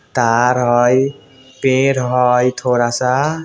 तार हई पेड़ हइ थोड़ा सा।